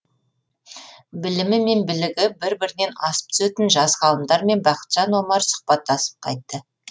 білімі мен білігі бір бірінен асып түсетін жас ғалымдармен бақытжан омар сұхбаттасып қайтты